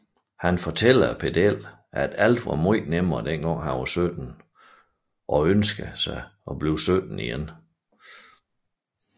Han fortæller pedellen at alt var nemmere dengang han var 17 og ønsker sig at blive 17 igen